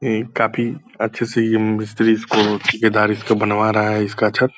ये काफी अच्छे से ये मिस्त्री इसको ठेकेदार इसका बनवा रहा है इसका छत।